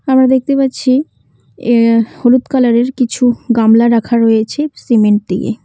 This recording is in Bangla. আমরা দেখতে পাচ্ছি এহ হলুদ কালারের কিছু গামলা রাখা রয়েছে সিমেন্ট দিয়ে।